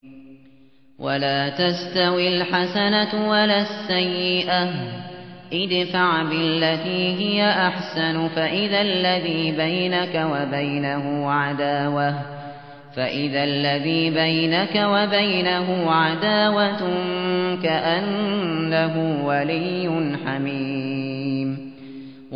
وَلَا تَسْتَوِي الْحَسَنَةُ وَلَا السَّيِّئَةُ ۚ ادْفَعْ بِالَّتِي هِيَ أَحْسَنُ فَإِذَا الَّذِي بَيْنَكَ وَبَيْنَهُ عَدَاوَةٌ كَأَنَّهُ وَلِيٌّ حَمِيمٌ